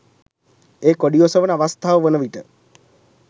ඒ කොඩි ඔසවන අවස්ථාව වනවිට